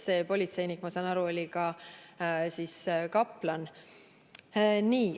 See politseinik oli, nagu ma saan aru, ka kaplan.